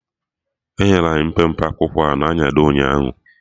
Enyere anyị mpempe akwụkwọ a na-anyado ụnyaahụ